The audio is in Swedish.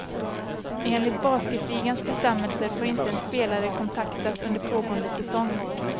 Enligt basketligans bestämmelser får inte en spelare kontaktas under pågående säsong.